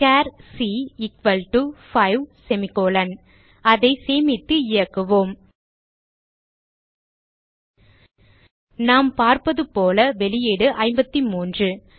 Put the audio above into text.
sir c 5 அதை சேமித்து இயக்குவோம் நாம் பார்ப்பதுபோல வெளியீடு 53